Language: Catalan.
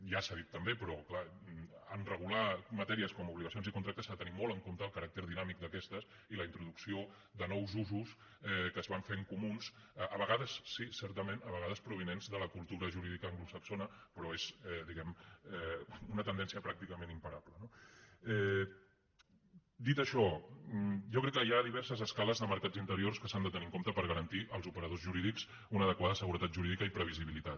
ja s’ha dit també però clar en regular matèries com obligacions i contractes s’ha de tenir molt en compte el caràcter dinàmic d’aquestes i la introducció de nous usos que es van fent comuns a vegades sí certament a vegades provinents de la cultura jurídica anglosaxona però és diguem ne una tendència pràcticament imparable no dit això jo crec que hi ha diverses escales de mercats interiors que s’han de tenir en compte per garantir als operadors jurídics una adequada seguretat jurídica i previsibilitat